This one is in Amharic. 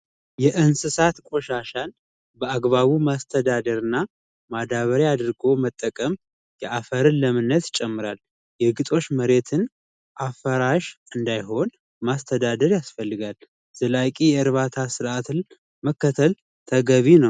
የእንስሳት ቆሻሻ አግባቡ ማስተዳደርና ማዳበሪያ አድርጎ መጠቀም አፈርን በአግባቡ ለምነቱን ይጨምራል መሬትን አፈራሽ እንዳይሆን ማስተዳደር ያስፈልጋል እዚህ ላይ የእርባታ ስርዓትን መጠቀም ተገቢ ነው።